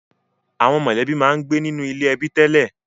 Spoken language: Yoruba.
Àwọn mọ̀lẹ́bí máa ń gbé nínú ilé ẹbí tẹ́lẹ̀